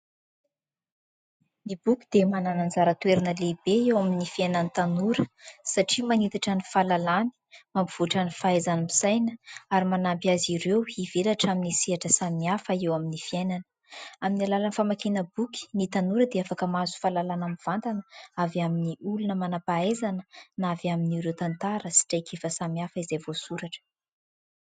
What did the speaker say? Ny boky dia manana ny anjara toerana lehibe eo amin'ny fiainan'ny tanora ; satria manitatra ny fahalalàny mampivoatra ny fahaizany misaina ary manampy azy ireo hivelatra amin'ny sehatra samihafa eo amin'ny fiainana. Amin'ny alalany famakiana boky ny tanora dia afaka mahazo fahalalàna mivantana avy amin'ny olona manam-pahaizana na avy amin'ireo tantara sy traikefa samihafa izay voasoratra.